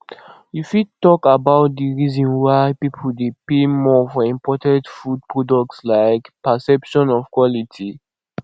you fit talk about di reason why people dey pay more for imported food products like perception of quality